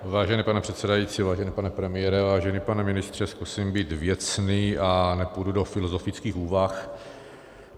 Vážený pane předsedající, vážený pane premiére, vážený pane ministře, zkusím být věcný a nepůjdu do filozofických úvah.